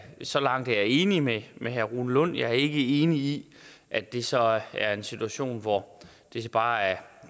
så langt er jeg enig med med herre rune lund jeg er ikke enig i at det så er en situation hvor det bare er